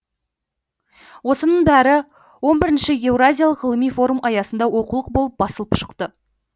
осының бәрі он бірінші еуразиялық ғылыми форум аясында оқулық болып басылып шықты